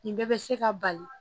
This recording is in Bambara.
Nin bɛɛ bɛ se ka bali